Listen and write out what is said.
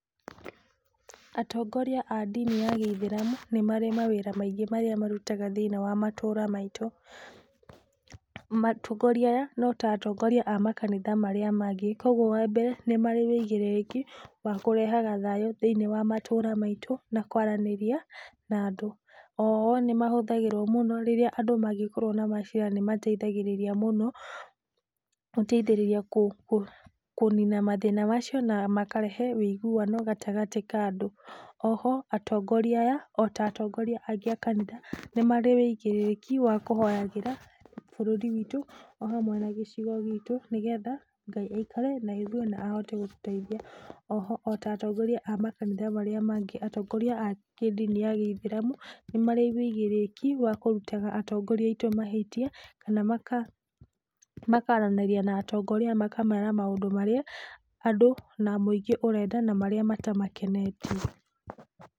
Atongoria a ndini ya gĩithĩramu, nĩmarĩ mawĩra maingĩ marĩa marutaga thĩiniĩ wa matũra maitũ. Atongoria aya, no ta atongoria a makanitha marĩa mangĩ. Kogwo wa mbere, nĩ marĩ ũigĩrĩrĩki wa kũrehaga thayũ thĩinĩ wa matũra maitũ na kwaranĩria na andũ. O o nĩ mahũthagĩrwo mũno rĩrĩa andũ mangĩkorwo na macira. Nĩ mateithagĩrĩria mũno kũnina mathĩna macio na makarehe ũiguano gatagatĩ ka andũ. Oho, atongoria aya, ota atongoria aingĩ a kanitha, nĩ marĩ ũigĩrĩrĩki wakũhoyagĩra bũrũri witũ o hamwe na gĩcigo gitũ nĩgetha Ngai aikare naithwĩ na ahote gũtũteithia. Oho, o ta atongoria a kanitha iria ingĩ, atongoria a ndini ya gĩithĩramu nĩ marĩ ũigĩrĩrĩki wa kũrutaga atongoria aitũ mahĩtia kana makaranĩria na atongoria makamera maũndũ marĩa andũ na mũingĩ ũrenda na marĩa matamakenetie.